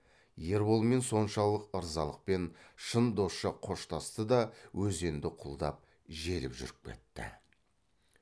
ерболмен соншалық ырзалықпен шын досша қоштасты да өзенді құлдап желіп жүріп кетті